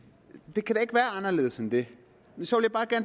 det kan ikke være anderledes end det så